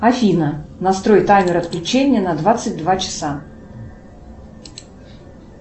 афина настрой таймер отключения на двадцать два часа